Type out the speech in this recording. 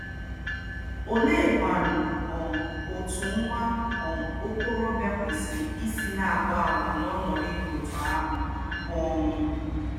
Oleekwa um otú nwa um okorobịa kwesịrị isi na-akpa àgwà n'ọnọdụ dị otú ahụ? um